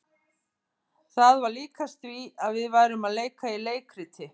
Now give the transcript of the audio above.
Það var líkast því að við værum að leika í leikriti.